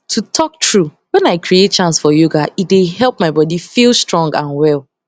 to talk true wen i create chance for yoga e dey help my body feel strong and well